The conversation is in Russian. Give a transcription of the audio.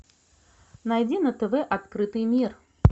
найди на тв открытый мир